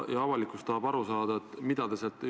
NATO-küsimus on minu jaoks täna selles mõttes järgmine.